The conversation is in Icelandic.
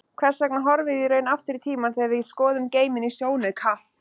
Hvers vegna horfum við í raun aftur í tímann þegar við skoðum geiminn í sjónauka?